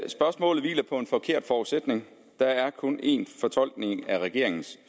spørgsmålet hviler på en forkert forudsætning der er kun en fortolkning af regeringens